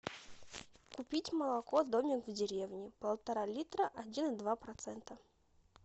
купить молоко домик в деревне полтора литра один и два процента